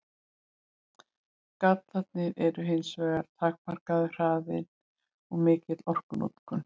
Gallarnir eru hins vegar takmarkaður hraðinn og mikil orkunotkun.